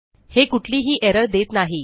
हे कुठलीही एरर देत नाही